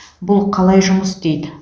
бұл қалай жұмыс істейді